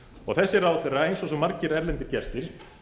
og þessi ráðherra eins og svo margir erlendir gestir